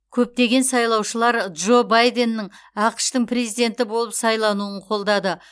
көптеген сайлаушылар джо байденнің ақш тың президенті болып сайлануын қолдады